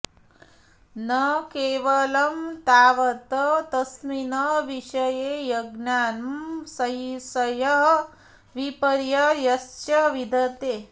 न केवलं तावत् तस्मिन् विषये अज्ञानं संशयः विपर्ययश्च विद्यते